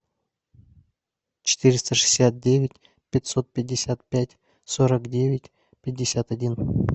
четыреста шестьдесят девять пятьсот пятьдесят пять сорок девять пятьдесят один